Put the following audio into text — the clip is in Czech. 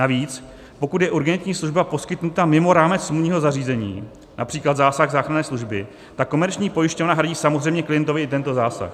Navíc pokud je urgentní služba poskytnuta mimo rámec smluvního zařízení, například zásah záchranné služby, tak komerční pojišťovna hradí samozřejmě klientovi i tento zásah.